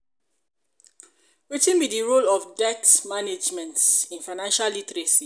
wetin be di role of debt management in financial literacy?